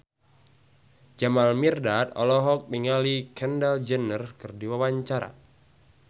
Jamal Mirdad olohok ningali Kendall Jenner keur diwawancara